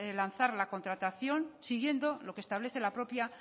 lanzar la contratación siguiendo lo que establece la propia